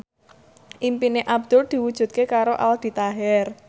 impine Abdul diwujudke karo Aldi Taher